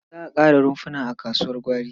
Za a ƙara rumfuna a kasuwar gwari.